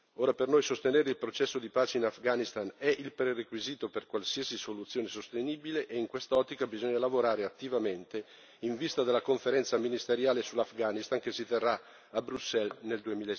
Ora, per noi sostenere il processo di pace in Afghanistan è il prerequisito per qualsiasi soluzione sostenibile e in quest'ottica bisogna lavorare attivamente in vista della Conferenza ministeriale sull'Afghanistan che si terrà a Bruxelles nel